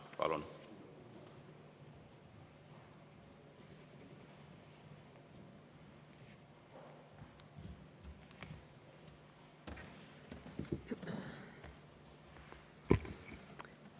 Palun!